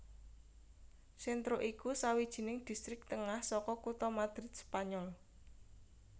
Centro iku sawijining distrik tengah saka kutha Madrid Spanyol